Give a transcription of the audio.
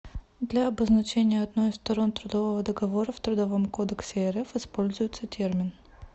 для обозначения одной из сторон трудового договора в трудовом кодексе рф используется термин